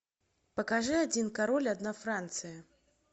покажи один король одна франция